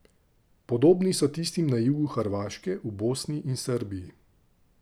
Podobni so tistim na jugu Hrvaške, v Bosni in Srbiji.